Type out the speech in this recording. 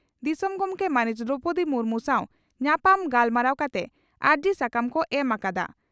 ᱫᱤᱥᱚᱢ ᱜᱚᱢᱠᱮ ᱢᱟᱹᱱᱤᱡ ᱫᱨᱚᱣᱯᱚᱫᱤ ᱢᱩᱨᱢᱩ ᱥᱟᱣ ᱧᱟᱯᱟᱢ ᱜᱟᱞᱢᱟᱨᱟᱣ ᱠᱟᱛᱮ ᱟᱹᱨᱡᱤ ᱥᱟᱠᱟᱢ ᱠᱚ ᱮᱢ ᱟᱠᱫᱼᱟ ᱾